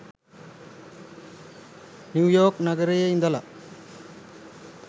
New York නගරයේ ඉඳලා.